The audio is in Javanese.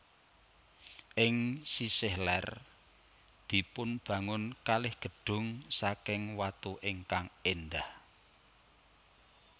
Ing sisih lèr dipunbangun kalih gedung saking watu ingkang èndah